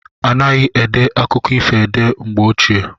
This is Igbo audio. Anaghi ede akụkọ ifo ede mgbe ochie.